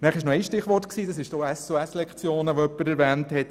Dann wurden noch die SOS-Lektionen erwähnt.